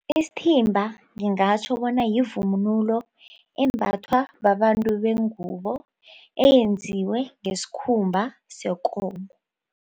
Isithimba ngingatjho bona yivunulo embathwa babantu bengubo eyenziwe ngesikhumba sekomo.